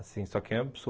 Assim, só que é